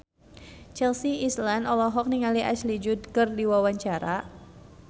Chelsea Islan olohok ningali Ashley Judd keur diwawancara